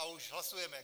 A už hlasujeme.